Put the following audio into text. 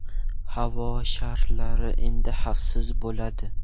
Havo sharlari endi xavfsiz bo‘ladi.